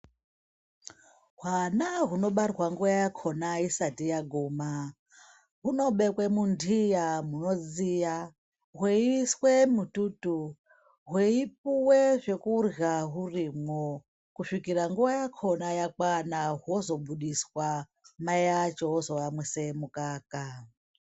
Hwana hunobarwa nguwa yahwo isati yaguma hunobekwe mundiya munodziya hweiiswe mututu hweipuwe zvekurya zvirimwo kusvikira nguwa yakona yakwana hozobudiswa mai acho ozoyamwise mukaka.